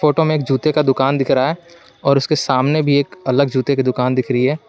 Photo में एक जूते का दुकान दिख रहा है और उसके सामने भी एक अलग जूते की दुकान दिख रही है।